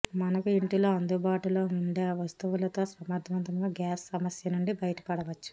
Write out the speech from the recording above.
మనకు ఇంటిలో అందుబాటులో ఉండే వస్తువులతో సమర్ధవంతంగా గ్యాస్ సమస్య నుండి బయట పడవచ్చు